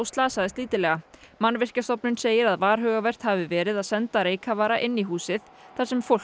slasaðist lítillega Mannvirkjastofnun segir að varhugavert hafi verið að senda reykkafara inn í húsið þar sem fólk